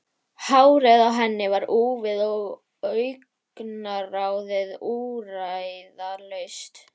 Hárið á henni var úfið og augnaráðið úrræðalaust.